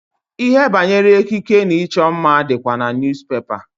Ihe banyere ekike na ịchọ mma dịkwa na niyuzupepa.